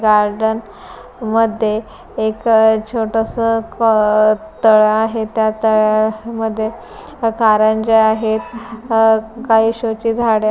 garden मध्ये एक अ छोटस क तळ आहे त्या तळ्यामध्ये कारंजा आहेत अ काही शो ची झाड --